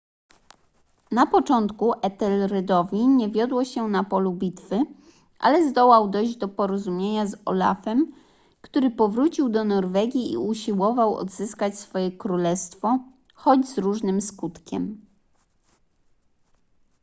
na początku ethelredowi nie wiodło się na polu bitwy ale zdołał dojść do porozumienia z olafem który powrócił do norwegii i usiłował odzyskać swoje królestwo choć z różnym skutkiem